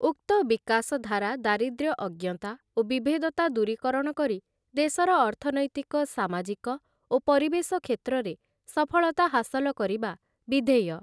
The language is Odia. ଉକ୍ତ ବିକାଶଧାରା ଦାରିଦ୍ର୍ୟ ଅଜ୍ଞତା ଓ ବିଭେଦତା ଦୂରୀକରଣ କରି ଦେଶର ଅର୍ଥନୈତିକ ସାମାଜିକ ଓ ପରିବେଶ କ୍ଷେତ୍ରରେ ସଫଳତା ହାସଲ କରିବା ବିଧେୟ ।